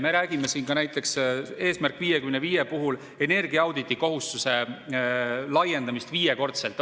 Me räägime siin näiteks "Eesmärgi 55" puhul energiaauditi kohustuse laiendamisest viiekordseks.